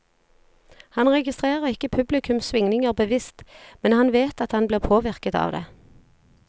Han registrerer ikke publikums svingninger bevisst, men han vet at han blir påvirket av det.